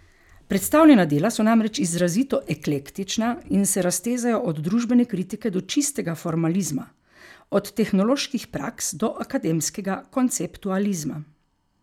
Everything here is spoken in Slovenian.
Predstavljena dela so namreč izrazito eklektična in se raztezajo od družbene kritike do čistega formalizma, od tehnoloških praks do akademskega konceptualizma.